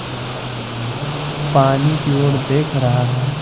पानी की ओर देख रहा है।